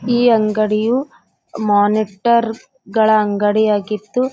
ಈ ಅಂಗಡಿಯು ಮಾನಿಟರ್ ಗಳ ಅಂಗಡಿಯಾಗಿದ್ದು --